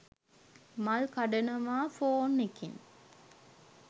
මල් කඩනවා ෆෝන් එකෙන්.